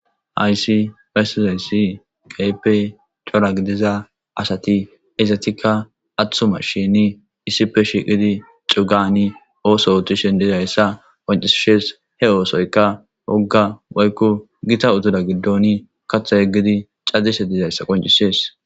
Haysi pesizayssi qaype cora gidiza asati izatikka athuma shini issipe shiqidi cugani ooso utushen dizayssa qoncisishes he oosoyka wogga woykko gita utuda giddon katha yeggidi cadise dizayssa qoncisees.